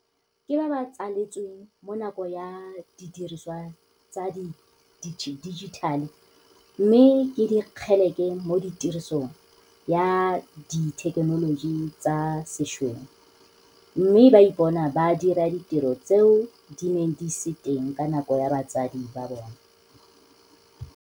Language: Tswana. Ke ba ba tsaletsweng mo nakong ya didiriswa tsa di dijithale mme ke dikgeleke mo tirisong ya dithekenoloji tsa sešweng mme ba ipona ba dira ditiro tseo di neng di se teng ka nako ya batsadi ba bona.